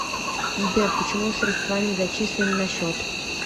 сбер почему средства не зачислены на счет